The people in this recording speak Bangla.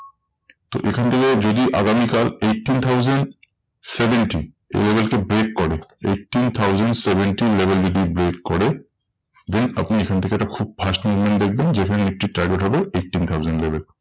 তো এখান থেকে যদি আগামী কাল eighteen thousand seventy এই level কে break করে eighteen thousand seventy level যদি break করে, then আপনি এখান থেকে একটা খুব fast movement দেখবেন যেখানে একটি target হবে eighteen thousand level.